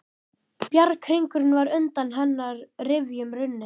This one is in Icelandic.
Bjarghringurinn var undan hennar rifjum runninn.